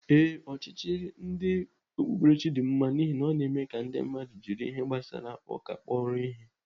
Ee, ọchịchị ndị okpukperechi dị mma n'ihi ọ na-eme ka ndị mmadụ jiri ihe gbasara ụka kpọrọ ihe.